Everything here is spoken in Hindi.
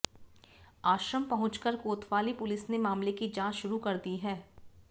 आश्रम पहुंचकर कोतवाली पुलिस ने मामले की जांच शुरू कर दी है